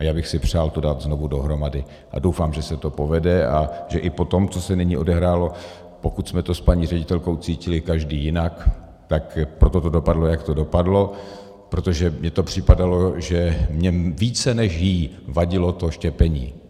A já bych si přál to dát znovu dohromady a doufám, že se to povede a že i po tom, co se nyní odehrálo, pokud jsme to s paní ředitelkou cítili každý jinak, tak proto to dopadlo, jak to dopadlo, protože mně to připadalo, že mně více než jí vadilo to štěpení.